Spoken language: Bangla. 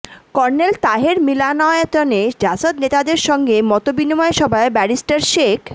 কর্নেল তাহের মিলনায়তনে জাসদ নেতাদের সঙ্গে মতবিনিময় সভায় ব্যারিস্টার শেখ